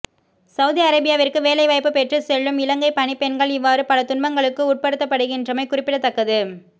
Saudi அரேபியாவிற்கு வேலை வாய்ப்பு பெற்றுச் செல்லும் இலங்கை பணிப் பெண்கள் இவ்வாறு பல துன்பங்களுக்கு உட்படுத்தப்படுகின்றமை குறிப்பிடத்தக்கது